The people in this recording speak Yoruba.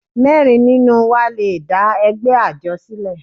Mẹ́rin nínú wa le dá ẹgbẹ́ àjọ sílẹ̀.